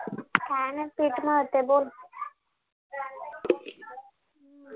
काही नाही पीठ मळतिये बोल